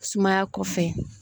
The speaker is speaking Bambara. Sumaya kɔfɛ